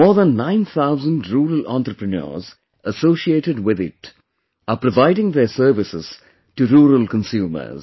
More than 9000 rural entrepreneurs associated with it are providing their services to rural consumers